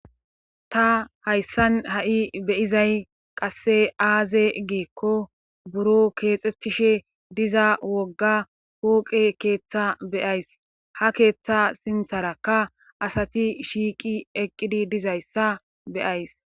ta hayssan ha7i be'izay qasse aaze giikko buro keexethishe diza wogga pooqe keeththa be'ays ha keeththa sintharakka asati shiiqi eqqidi dizayssa be'ays